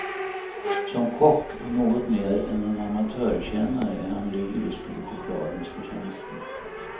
Som kock och något mer än en amatörkännare är han lyrisk över chokladens förtjänster.